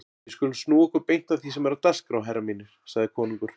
Við skulum snúa okkur beint að því sem er á dagskrá herrar mínir, sagði konungur.